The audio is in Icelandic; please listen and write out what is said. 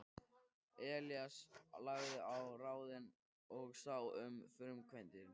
Elías lagði á ráðin og sá um framkvæmdir.